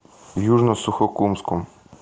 южно сухокумском